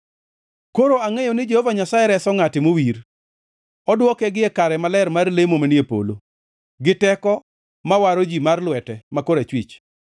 Koro angʼeyo ni Jehova Nyasaye reso ngʼate mowir; odwoke gie kare maler mar lemo manie polo, gi teko ma waro ji mar lwete ma korachwich.